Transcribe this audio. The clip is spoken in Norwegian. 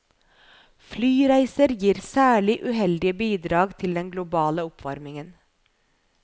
Flyreiser gir særlig uheldige bidrag til den globale oppvarmingen.